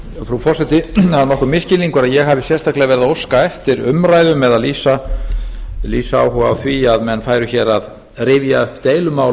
nokkur misskilningur að ég hafi sérstaklega verið að óska eftir umræðum eða lýsa áhuga á því að menn færu hér að rifja upp deilumálin